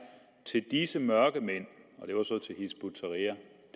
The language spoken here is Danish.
til disse mørkemænd og det var så